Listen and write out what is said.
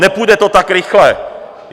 Nepůjde to tak rychle.